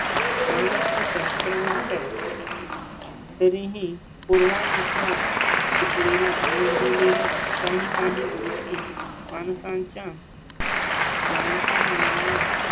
मानसशास्त्र म्हणतात. तरीही पूर्वायुष्यात शिकलेल्या अनुभवलेल्या काही काही गोष्टी माणसांच्या. जाणत्या मनाला